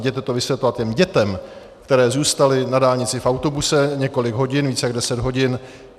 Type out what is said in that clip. Jděte to vysvětlovat těm dětem, které zůstaly na dálnici v autobuse několik hodin, více jak deset hodin.